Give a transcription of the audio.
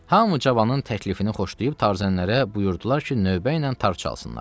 Hamı cavanın təklifini xoşlayıb tarzənlərə buyurdular ki, növbə ilə tar çalsınlar.